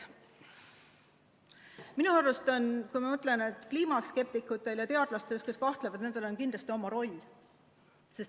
Minu arust on kliimaskeptikutel ja teadlastel, kes kahtlevad, kindlasti oma roll.